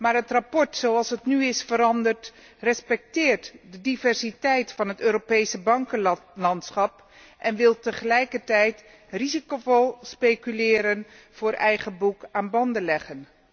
Maar het verslag zoals het nu is veranderd, respecteert de diversiteit van het Europese bankenlandschap en wil tegelijkertijd 'risicovol speculeren op eigen boek' aan banden leggen.